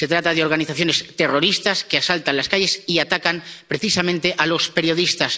Se trata de organizaciones terroristas que asaltan las calles y atacan precisamente a los periodistas.